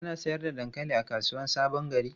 Ana sayar da dankali a kasuwar Sabon Gari?